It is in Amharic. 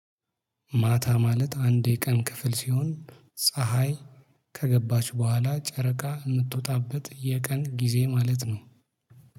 ማታ ማለት አንድ የቀን ክፍል ሲሆን ፀሀይ ከገባች በኋላ ጨረቃ የምትወጣበት የቀን ጊዜ ማለት ነው።